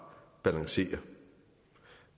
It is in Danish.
balancerer